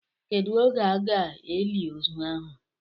Kedụ oge a ga-eli ozu ahụ?